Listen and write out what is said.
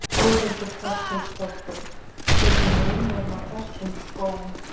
Þórhildur Þorkelsdóttir: Hver er munurinn á þessum skóm?